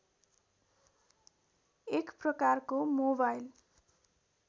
एक प्रकारको मोबाइल